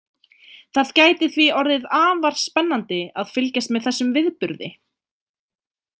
Það gæti því orðið afar spennandi að fylgjast með þessum viðburði.